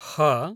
ह